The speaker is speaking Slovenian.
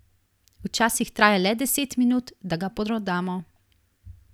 Včasih traja le deset minut, da ga prodamo.